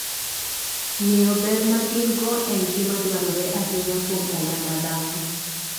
Ng'eyo ber ma gin - go en gima dwarore ahinya kuom oganda dhano.